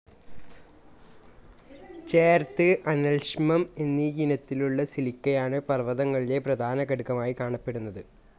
ചേർത്, അനൽഷ്മം എന്നീയിനത്തിലുള്ള സിലിക്കയാണ് പർവതങ്ങളിലെ പ്രധാനഘടകമായി കാണപ്പെടുന്നത്.